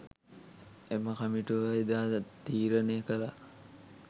එම කමිටුව එදා තීරණය කළා.